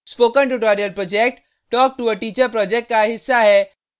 spoken tutorial project talk to a teacher project का हिस्सा है